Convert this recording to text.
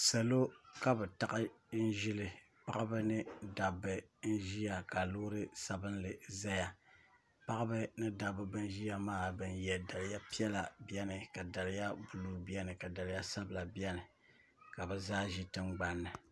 salo ka bɛ taɣi n-ʒili paɣiba mini dabba n-ʒiya ka loori' sabinli zaya paɣiba ni dabba bana ʒiya maa bana ye daliya piɛla beni ka daliya buluu beni ka daliya sabila beni ka bɛ zaa ʒi tiŋgbani niEdit